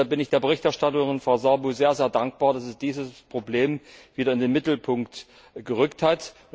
Deshalb bin ich der Berichterstatterin, Frau Sârbu sehr dankbar, dass sie dieses Problem wieder in den Mittelpunkt gerückt hat.